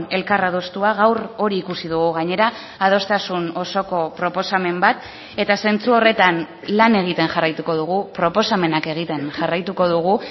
elkar adostua gaur hori ikusi dugu gainera adostasun osoko proposamen bat eta zentzu horretan lan egiten jarraituko dugu proposamenak egiten jarraituko dugu